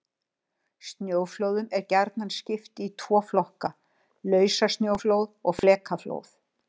Snjóflóðum er gjarnan skipt í tvo flokka: Lausasnjóflóð og flekaflóð.